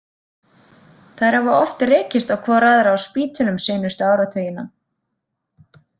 Þær hafa oft rekist hvor á aðra á spítölum seinustu áratugina.